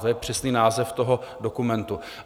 To je přesný název toho dokumentu.